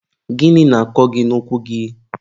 gịnị na-akọ gị n'ụkwụ gị?